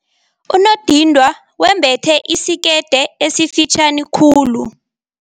Unondindwa wembethe isikete esifitjhani khulu.